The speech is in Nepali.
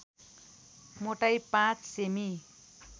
मोटाई ५ सेमि